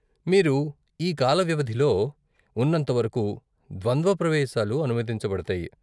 మీరు ఈ కాల వ్యవధిలో ఉన్నంతవరకు ద్వంద్వ ప్రవేశాలు అనుమతించబడతాయి.